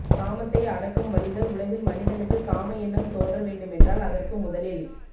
காமத்தை அடக்கும் வழிகள் உலகில் மனிதனுக்கு காம எண்ணம் தோன்ற வேண்டுமென்றால் அதற்கு முதலில்